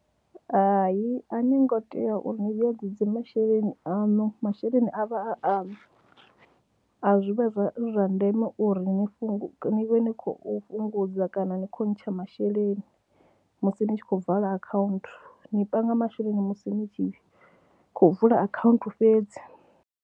Hai a ni ngo tea uri ni vhuyedzedza masheleni aṋu masheleni a vha a aṋu, a zwi vha zwi zwa ndeme uri ni fhungu, ni vhe ni khou fhungudza kana ni khou ntsha masheleni musi ni tshi khou vala akhaunthu, ni panga masheleni musi ni tshi khou vula akhaunthu fhedzi.